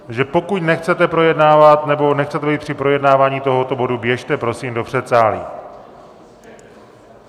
Takže pokud nechcete projednávat, nebo nechcete být při projednávání tohoto bodu, běžte prosím do předsálí.